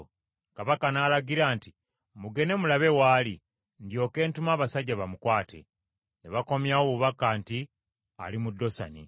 Kabaka n’alagira nti, “Mugende mulabe w’ali, ndyoke ntume abasajja bamukwate.” Ne bakomyawo obubaka nti, “Ali mu Dosani.”